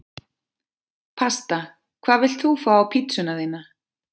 Pasta Hvað vilt þú fá á pizzuna þína?